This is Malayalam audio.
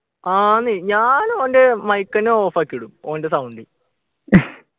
ആഹ് ന്ന് ഞാൻ ഓൻ്റെ mike എന്നെ off ആക്കി ഇടും ഓൻ്റെ sound